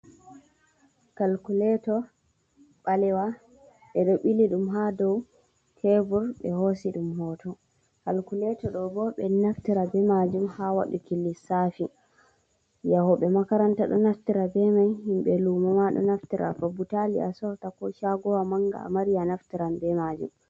Kalkuleeto ɓalewa, ɓe ɗo bili ɗum haa dow teebur ɓe hoosi ɗum hooto. Kalkuleeto ɗo'o boo ɓe ɗo naftira bee maajum haa waɗuki lissaafi. Yahooɓe makaranta ɗo naftira bee mai. Himɓe luumo maa ɗo naftira. To butaali a soorata ko caagowa manga a mari a naftiran bee majum